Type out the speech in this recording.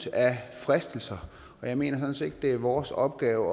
fristelser og jeg mener sådan set ikke at det er vores opgave